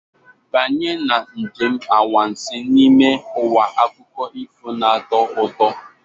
Banye na njem anwansi n'ime ụwa akụkọ ifo na-atọ ụtọ.